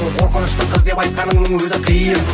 қорқынышты қыз деп айтқанының өзі қиын